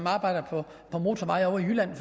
arbejder på motorveje i jylland